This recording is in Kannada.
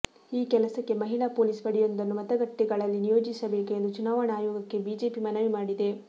ಈ ಕೆಲಸಕ್ಕೆ ಮಹಿಳಾ ಪೊಲೀಸ್ ಪಡೆಯೊಂದನ್ನು ಮತಗಟ್ಟೆಗಳಲ್ಲಿ ನಿಯೋಜಿಸಬೇಕು ಎಂದು ಚುನಾವಣಾ ಆಯೋಗಕ್ಕೆ ಬಿಜೆಪಿ ಮನವಿ ಮಾಡಿದೆ